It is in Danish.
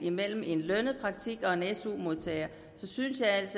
en lønnet praktikant og en su modtager så synes jeg altså